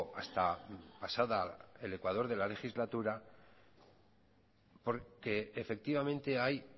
hasta pasada el ecuador de la legislatura porque efectivamente hay